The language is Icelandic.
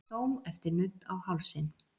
Dó eftir nudd á hálsinn